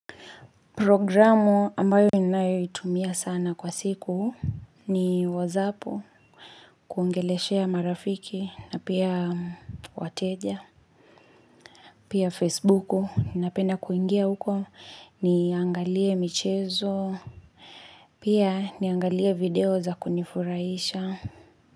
Programu ambayo ninayoitumia sana kwa siku ni whatsapp kuongeleshea marafiki na pia wateja. Pia Facebooku, ninapenna kuingia huko niangalie michezo. Pia niangalie video za kunifurahisha.